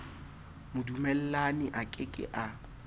modumellani a ke ke a